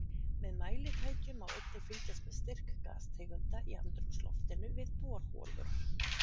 Með mælitækjum má einnig fylgjast með styrk gastegunda í andrúmsloftinu við borholur.